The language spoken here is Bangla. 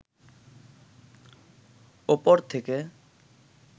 উপর থেকে